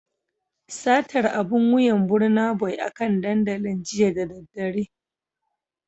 Satar abun wuyan Burnaboy akan dandalin jiya da daddare